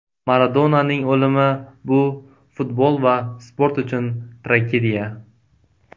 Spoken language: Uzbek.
Maradonaning o‘limi bu futbol va sport uchun tragediya”.